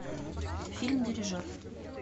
фильм дирижер